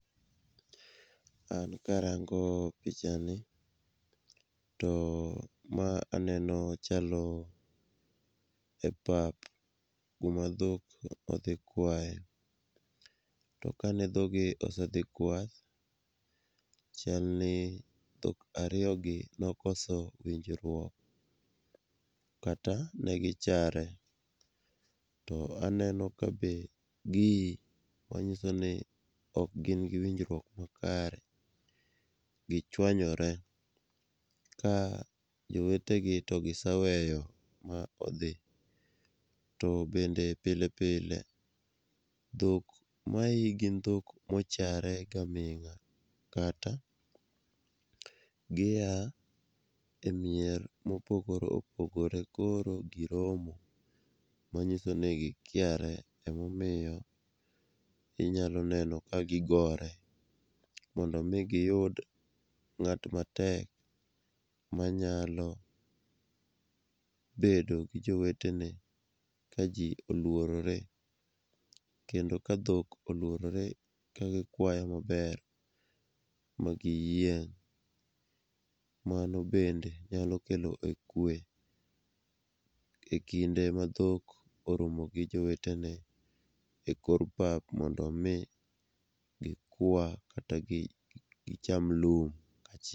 An karango pichani, to ma aneno chalo e pap, kuma dhok odhi kwaye, to kane dhoggi osedhi kwath, chal ni dho ariyogi nokoso winjruok kata negi chare, to aneno ka be gii, manyiso ni ok gin gi winjruok makare, gichwonye, ka jowetegi to gisaweyo ma odhi, to bende pile pile, dhok mai gin dhok mochare gaming'a kata gia e mier mopogore opogore koro giromo, manyiso ni gikiare emomiyo inyalo neno ka gigore, mondo omi giyud ng'at matek manyalo bedo gi jowetewne ka ji olworore kendo ka dhok olworore kagikwayo maber ma giyieng',mano bende nyalo kelo kwe e kinde ma dhok oromo gi jowetene e kor pap mondo omi gikwa kata gicham lum kaachiel.